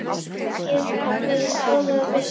Kannski væri skárra að hlusta